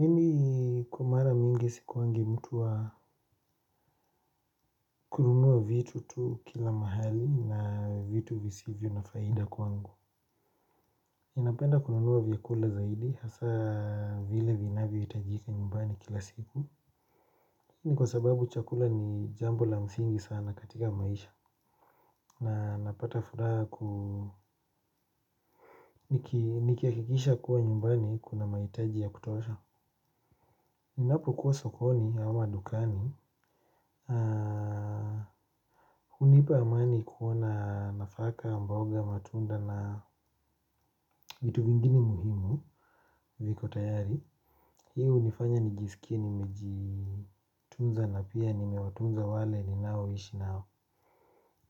Mimi kwa mara mingi sikuangi mtu wa kununua vitu tu kila mahali na vitu visivyo na faida kwangu ninapenda kununua vyakula zaidi hasa vile vinavyohitajika nyumbani kila siku. Ni kwa sababu chakula ni jambo la msingi sana katika maisha. Na napata furaha ku nikihakikisha kuwa nyumbani kuna mahitajia ya kutosha. Ninapokuwa sokoni au madukani, hunipa amani kuona nafaka mboga matunda na vitu vingine muhimu viko tayari. Hii hunifanya nijisikie nimejitunza na pia nimewatunza wale ninaoishi nao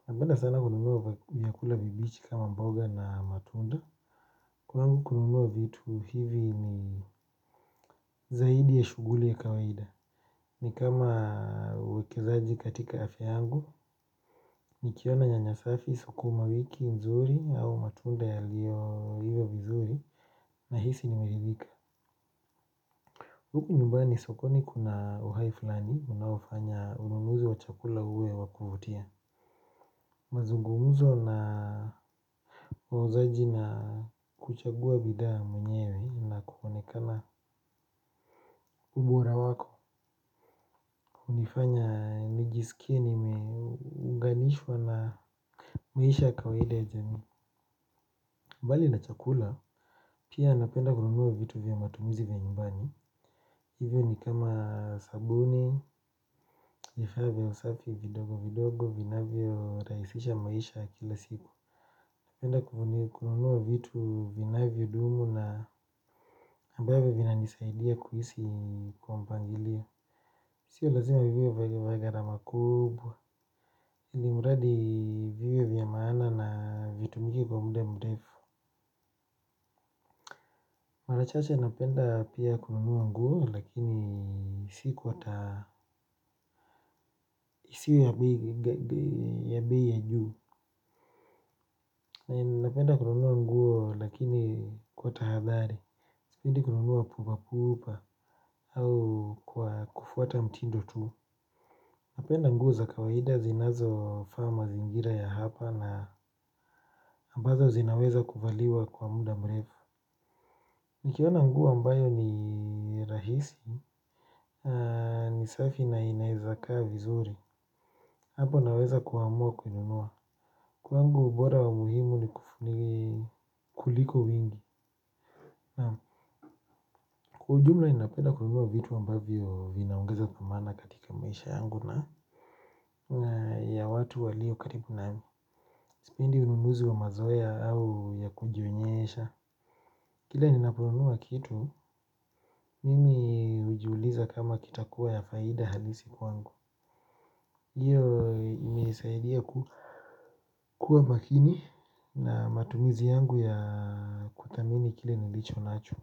napenda sana kununua vyakula vibichi kama mboga na matunda. Kwangu kununua vitu hivi ni zaidi ya shughuli ya kawaida. Ni kama uwekezaji katika afya yangu, nikiona nyanya safi sukuma wiki mzuri au matunda yaliyo iva vizuri nahisi nimeridhika. Huku nyumbani sokoni kuna uhai fulani, unaofanya ununuzi wa chakula uwe wa kuvutia. Mazungumzo na wauzaji na kuchagua bidhaa mwenyewe na kuonekana ubora wako. Hunifanya nijisikie nimeunganishwa na maisha ya kawaida ya jamii. Mbali na chakula pia napenda kununua vitu vya matumizi vya nyumbani. Hivyo ni kama sabuni vifaa vya usafi vidogo vidogo vinavyorahisisha maisha ya kila siku. Napenda kununua vitu vinavyodumu na ambavyo vinanisaidia kuishi kwa mpangilio. Sio lazima viwe vya gharama kubwa Ilimuradi viwe vya maana na vitu mingi kwa muda mrefu. Mara chache napenda pia kununua nguo lakini si kwa ta isiwe ya bei ya juu. Napenda kununua nguo lakini kwa tahadhari. Sipendi kununua pupa pupa au kwa kufuata mtindo tu. Napenda nguo za kawaida zinazo faa mazingira ya hapa na ambazo zinaweza kuvaliwa kwa muda mrefu. Nikiona nguo ambayo ni rahisi ni safi na inaeza kaa vizuri. Hapo naweza kuamua kuinunua. Kwangu ubora wa muhimu ni kuliko wingi. Kwa ujumla ninapenda kununua vitu ambavyo vinaongeza dhamana katika maisha yangu na ya watu walio karibu nami sipendi ununuzi wa mazoea au ya kujionyesha. Kila ninaponunua kitu, mimi hujiuliza kama kitakuwa ya faida halisi kwangu hiyo imenisaidia kuwa makini na matumizi yangu ya kuthamini kile nilicho nacho.